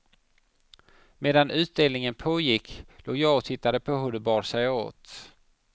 Medan utdelningen pågick, låg jag och tittade på hur de bar sig åt.